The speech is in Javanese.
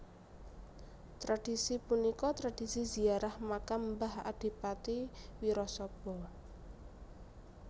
Tradhisi punika tradhisi ziarah makam mbah Adipati Wirasaba